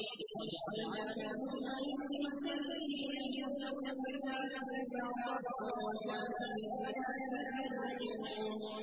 وَجَعَلْنَا مِنْهُمْ أَئِمَّةً يَهْدُونَ بِأَمْرِنَا لَمَّا صَبَرُوا ۖ وَكَانُوا بِآيَاتِنَا يُوقِنُونَ